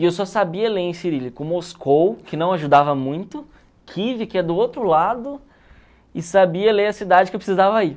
E eu só sabia ler em cirílico Moscou, que não ajudava muito, Kiev, que é do outro lado, e sabia ler a cidade que eu precisava ir.